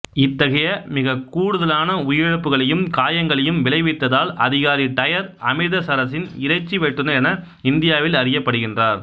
இத்தகைய மிகக் கூடுதலான உயிரிழப்புக்களையும் காயங்களையும் விளைவித்ததால் அதிகாரி டையர் அம்ரித்சரசின் இறைச்சி வெட்டுநர் என இந்தியாவில் அறியப்படுகின்றார்